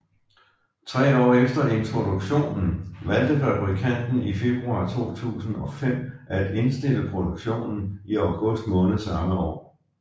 Tre år efter introduktionen valgte fabrikanten i februar 2005 at indstille produktionen i august måned samme år